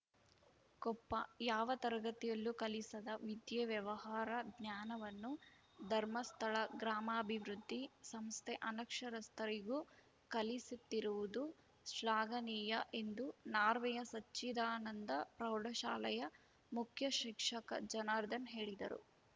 ಕೊಪ್ಪ ಯಾವ ತರಗತಿಯಲ್ಲೂ ಕಲಿಸದ ವಿದ್ಯೆ ವ್ಯವಹಾರ ಜ್ಞಾನವನ್ನು ಧರ್ಮಸ್ಥಳ ಗ್ರಾಮಾಭಿವೃದ್ಧಿ ಸಂಸ್ಥೆ ಅನಕ್ಷರಸ್ಥರಿಗೂ ಕಲಿಸುತ್ತಿರುವುದು ಶ್ಲಾಘನೀಯ ಎಂದು ನಾರ್ವೆಯ ಸಚ್ಚಿದಾನಂದ ಪ್ರೌಢಶಾಲೆಯ ಮುಖ್ಯ ಶಿಕ್ಷಕ ಜನಾರ್ದನ್‌ ಹೇಳಿದರು